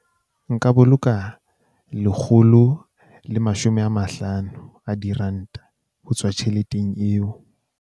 Nka boloka lekgolo le mashome a mahlano a diranta ho tswa tjheleteng eo.